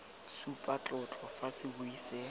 supa tlotlo fa sebui se